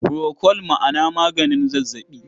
Furokol ma na maganin zazzaɓi.